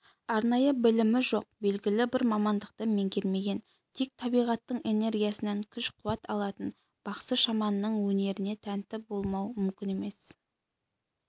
арнайы білімі жоқ белгілі бір мамандықты меңгермеген тек табиғаттың энергиясынан күш алатын бақсы-шаманның өнеріне тәнті болмау мүмкін емес